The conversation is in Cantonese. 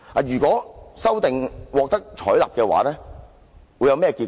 如果這項修訂獲得採納會有何結果？